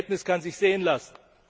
Das Ergebnis kann sich sehen lassen.